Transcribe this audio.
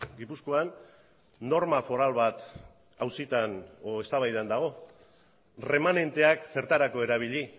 gipuzkoan norma foral bat auzitan edo eztabaidan dago erremanenteak zertarako erabili